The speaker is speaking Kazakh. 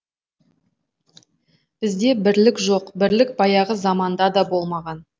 бізде бірлік жоқ бірлік баяғы заманда да болмаған